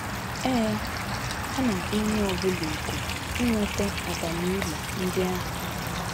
Ee, a na - akpọ onye ọ bụla òkù inweta abamuru ndị ahụ!